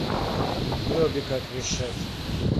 дроби как решать